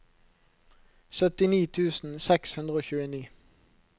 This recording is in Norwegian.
syttini tusen seks hundre og tjueni